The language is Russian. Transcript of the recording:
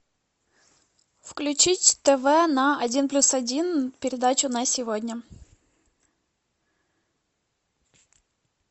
включить тв на один плюс один передачи на сегодня